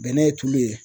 Bɛnɛ ye tulu ye